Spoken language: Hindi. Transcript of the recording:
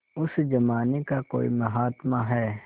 उस जमाने का कोई महात्मा है